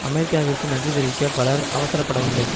அமெரிக்காவிற்கு நன்றி தெரிவிக்க பலர் அவசரப்படவில்லை